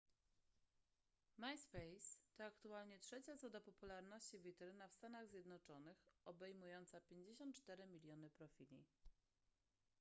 myspace to aktualnie trzecia co do popularności witryna w stanach zjednoczonych obejmująca 54 miliony profili